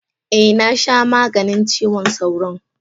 Eh, na sha maganin cizon sauron.